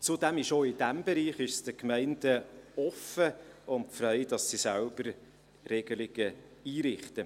Zudem steht es auch in diesem Bereich den Gemeinden offen und frei, selbst Regelungen einzurichten.